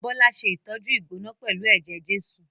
Bọ́lá ṣe ìtọ́jú ìgbóná pẹ̀lú ẹ̀jẹ̀ Jésù